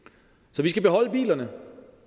så vi skal beholde bilerne